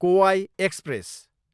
कोवाई express